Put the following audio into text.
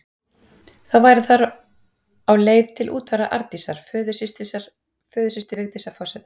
Þá voru þær á leið til útfarar Arndísar, föðursystur Vigdísar forseta.